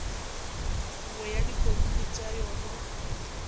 nngwe ya dikomiti tša yona